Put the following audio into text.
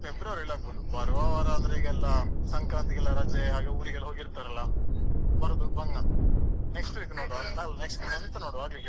February ಅಲ್ ಆಗ್ಬೋದು ಬರುವ ವಾರ ಅಂದ್ರೆ ಈಗ್ಯೆಲ್ಲ ಸಂಕ್ರಾಂತಿಗೆಲ್ಲ ರಜೆ ಹಾಗೆ ಊರಿಗೆಲ್ಲ ಹೋಗಿರ್ತಾರಲ್ಲ ಬರುದು ಬಂಗ next week ಅಲ್ಲಾ next month ನೋಡ್ವ.